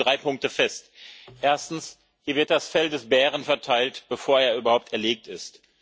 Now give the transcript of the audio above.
Ich stelle dazu drei Punkte fest Erstens Hier wird das Fell des Bären verteilt, bevor er überhaupt erlegt ist.